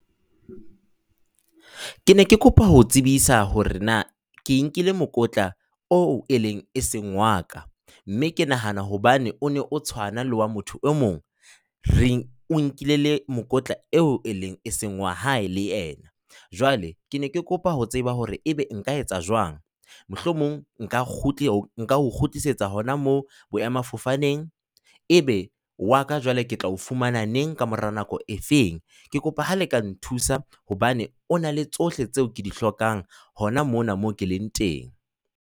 Ke ne ke kopa ho o tsebisa hore na ke nkile mokotla o eneng e se wa ka. Mme ke nahana hobane o ne o tshwana le wa motho e mong. Re, o nkile mokotla eo e neng e seng wa hae le yena. Jwale ke ne ke kopa ho tseba hore ebe nka etsa jwang, mohlomong nka o kgutlisetsa hona moo boemafofaneng. Ebe wa ka jwale ke tla o fumana neng, ka mora nako e feng? Ke kopa ha le ka nthusa hobane o na le tsohle tseo ke di hlokang hona mona mo ke leng teng.